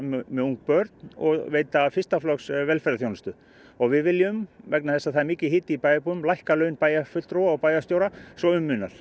með ung börn og veita fyrsta flokks velferðarþjónustu og við viljum vegna þess að það er mikill hiti í bæjarbúum lækka laun bæjarfulltrúa og bæjarstjóra svo um munar